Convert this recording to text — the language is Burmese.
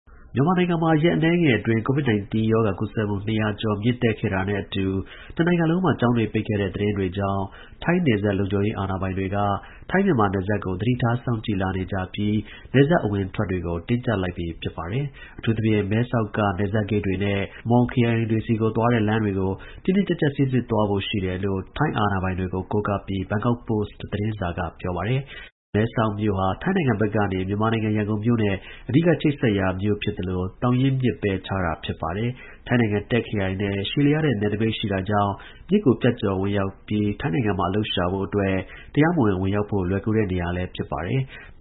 မြန်မာနိုင်ငံမှာ ရက်အနည်းငယ်အတွင်း COVID-19 ရောဂါ ကူးစက်မှု ၂၀၀ ကျော် မြင့်တက်ခဲ့တာနဲ့ အတူ တစ်နိုင်ငံလုံးမှာ ကျောင်းတွေ ပိတ်ခဲ့တဲ့ သတင်းတွေကြောင့် ထိုင်းနယ်စပ် လုံခြုံရေး အာဏာပိုင်တွေ ထိုင်း-မြန်မာ နယ်စပ်ကို သတိထားစောင့်ကြည့်လာနေကြပြီးနယ်စပ် အဝင်အထွက်တွေကို တင်းကျပ်လိုက်ပြီ ဖြစ်ပါတယ်။ အထူးသဖြင့် မဲဆောက်က နယ်စပ်ဂိတ်တွေနဲ့ Muang ခရိုင်တွေဆီကိုသွားတဲ့ လမ်းတွေကိုတင်းတင်းကျပ်ကျပ်စိစစ်သွားဖို့ရှိတယ်လို့ ထိုင်း အာဏာပိုင်တွေကို ကိုးကားပြီး Bangkok Post သတင်းစာက ပြောပါတယ်။ မဲဆောက်မြို့ဟာ ထိုင်းနိုင်ငံဘက်ကနေ မြန်မာနိုင်ငံ ရန်ကုန်မြို့နဲ့ အဓိက ချိတ်ဆက်ရာ မြို့ဖြစ်သလို သောင်ရင်းမြစ်ပဲ ခြားတာ ဖြစ်ပါတယ်။ ထိုင်းနိုင်ငံ Tak ခရိုင်နဲ့ ရှည်လျားတဲ့ နယ်နိမိတ်ရှိတာကြောင့် မြစ်ကို ဖြတ်ကျော် ဝင်ရောက်ပြီး ထိုင်းနိုင်ငံမှာ အလုပ်ရှာ ဖို့အတွက် တရားမဝင် ဝင်ရောက်ဖို့ လွယ်ကူတဲ့ နေရာလည်း ဖြစ်ပါတယ်။